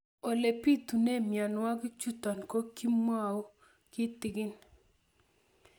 Ole pitune mionwek chutok ko kimwau kitig'ín